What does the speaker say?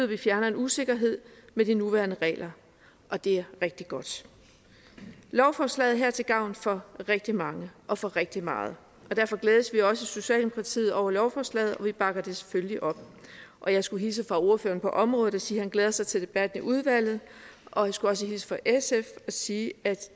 vi fjerner en usikkerhed ved de nuværende regler og det er rigtig godt lovforslaget her er til gavn for rigtig mange og for rigtig meget derfor glædes vi også i socialdemokratiet over lovforslaget og vi bakker det selvfølgelig op og jeg skulle hilse fra ordføreren på området og sige at han glæder sig til debatten i udvalget og jeg skulle også hilse fra sf og sige at